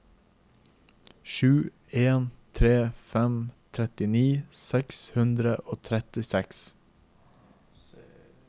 sju en tre fem trettini seks hundre og trettiseks